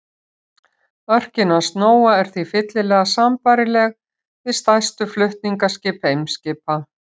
Örkin hans Nóa er því fyllilega sambærileg við stærstu flutningaskip Eimskipa.